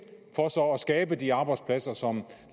skabe de arbejdspladser som